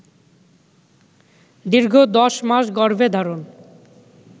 দীর্ঘ দশ মাস গর্ভে ধারণ